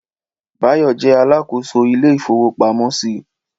Báyọ̀ jẹ́ Alákóso ilé ìfowó pamọ́ sì